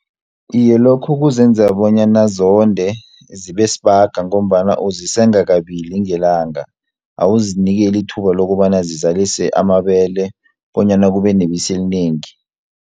Iye lokho kuzenza bonyana zonde, zibe sibaga ngombana uzisenga kabili ngelanga, awuzinikeli ithuba lokobana zizalise amabele, bonyana kube nebisi elinengi.